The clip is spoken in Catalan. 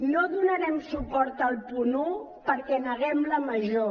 no donarem suport al punt un perquè neguem la major